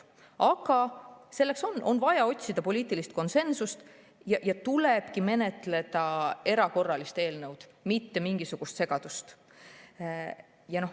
Aga selleks on vaja otsida poliitilist konsensust ja tulebki menetleda erakorralist eelnõu, mitte mingisugust segadust.